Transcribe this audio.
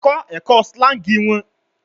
Kọ ẹkọ slangs wọn